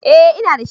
Eh, ina da shi